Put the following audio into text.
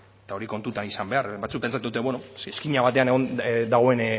eta hori kontutan izan behar da batzuk pentsatzen dute beno izkina batean dagoen